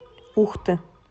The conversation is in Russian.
ухты